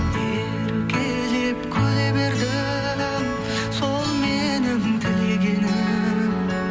еркелеп күле бердің сол менің тілегенім